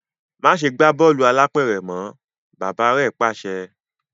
Máṣe gbà bọọlu álàpẹ̀rẹ̀ mọ! bàbà rẹ pàṣẹ.